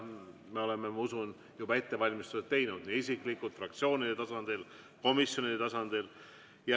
Me oleme, ma usun, juba ettevalmistused teinud – nii isiklikult, fraktsioonide tasandil kui ka komisjonide tasandil.